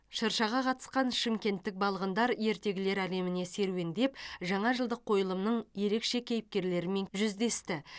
шыршаға қатысқан шымкенттік балғындар ертегілер әлеміне серуендеп жаңа жылдық қойылымның ерекше кейіпкерлерімен жүздесті